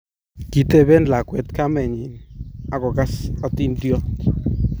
kitebe lakwet kamenyin aku kas atindiot